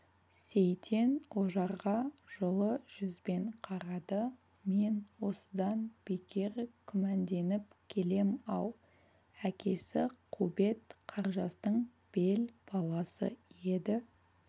сейтен ожарға жылы жүзбен қарады мен осыдан бекер күмәнденіп келем-ау әкесі қубет қаржастың бел баласы еді